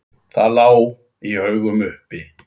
Það lá í augum uppi.